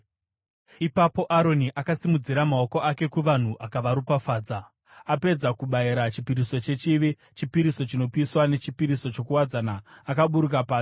Ipapo Aroni akasimudzira maoko ake kuvanhu akavaropafadza. Apedza kubayira chipiriso chechivi, chipiriso chinopiswa nechipiriso chokuwadzana akaburuka pasi.